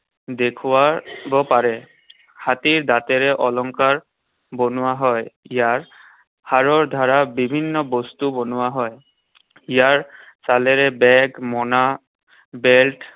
দেখুৱাব পাৰে। হাতীৰ দাঁতেৰে অলংকাৰ বনোৱা হয়। ইয়াৰ হাড়ৰ দ্বাৰা বিভিন্ন বস্তু বনোৱা হয়। ইয়াৰ ছালেৰে bag, মোনা, belt